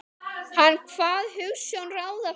Hann kvað hugsjón ráða ferð.